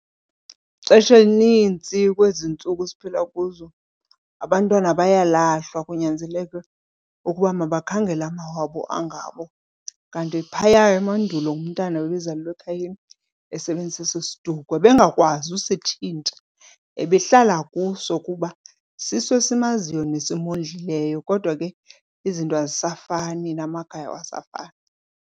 Ixesha elinintsi kwezi ntsuku siphila kuzo abantwana bayalahlwa kunyanzeleke ukuba mabakhangele amawabo angabo. Kanti phaya emandulo umntana bebezalelwa ekhayeni esebenzisa eso siduko, ebengakwazi usitshintsha ebehlala kuso kuba siso esimaziyo nesimondlileyo, kodwa ke izinto azisafani namakhaya awasafani.